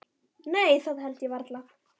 Nei það held ég varla.